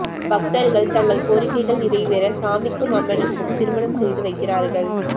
பக்தர்கள் தங்கள் கோரிக்கைகள் நிறைவேற சுவாமிக்கும் அம்மனும் திருமணம் செய்து வைக்கிறார்கள்